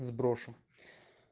сброшу